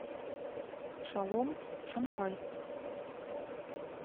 шалом шанхай